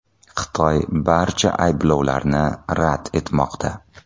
Xitoy barcha ayblovlarni rad etmoqda.